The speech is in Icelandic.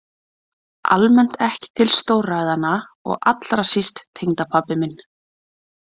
Almennt ekki til stórræðanna og allra síst tengdapabbi minn.